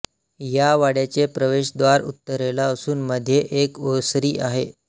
या वाड्याचे प्रवेशद्वार उत्तरेला असून मध्ये एक ओसरी आहे